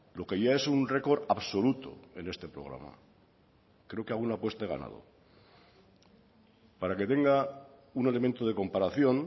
lo que ya es un récord absoluto en este programa creo que alguna apuesta he ganado para que tenga un elemento de comparación